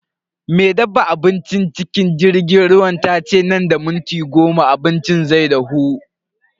Me dafa abincin cikin jirgin ruwan tace nan da minti goma abincin zai dahu.